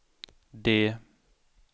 D